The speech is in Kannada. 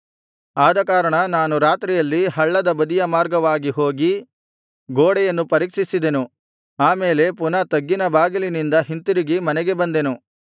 ಅದಕಾರಣ ನಾನು ರಾತ್ರಿಯಲ್ಲಿ ಹಳ್ಳದ ಬದಿಯ ಮಾರ್ಗವಾಗಿ ಹೋಗಿ ಗೋಡೆಯನ್ನು ಪರೀಕ್ಷಿಸಿದೆನು ಆ ಮೇಲೆ ಪುನಃ ತಗ್ಗಿನ ಬಾಗಿಲಿನಿಂದ ಹಿಂತಿರುಗಿ ಮನೆಗೆ ಬಂದೆನು